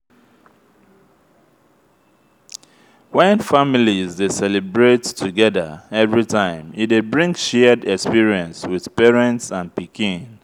when families de celebrate togethger everytime e de bring shared experience with parents and pikin